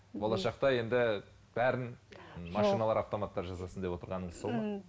болашақта енді бәрін автоматтар жасасын деп отырғаныңыз сол ма